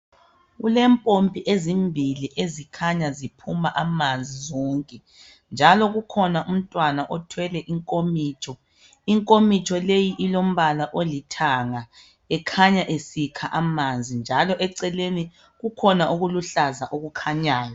Kulempompi ezimbili ezikhanya ziphuma amanzi zonke, njalo kukhona umntwana okhanya ethwele inkomitsho, inkomitsho leyi ilombala olithanga. Ukhanya esikha amanzi, njalo eceleni kukhona okuluhkaza okukhanyayo.